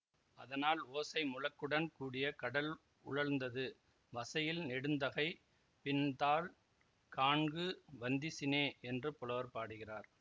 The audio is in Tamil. அதனால் ஓசை முழக்குடன் கூடிய கடல் உழல்ந்தது வசையில் நெடுந்தகை நின் தாள் காண்கு வந்திசினே என்று புலவர் பாடுகிறார்